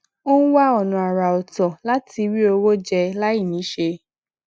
ó ń wá ònà àrà òtọ láti rí owó jẹ láì níṣé